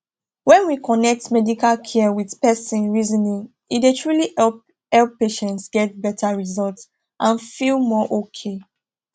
when we connect medical care with person reasoning e dey truly help help patients get better result and feel more okay